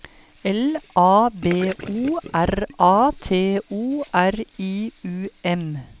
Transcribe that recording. L A B O R A T O R I U M